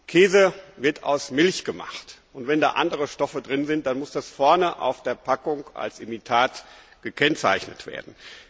Käse wird aus Milch gemacht, und wenn andere Stoffe darin sind, muss das vorne auf der Packung als Imitat gekennzeichnet werden.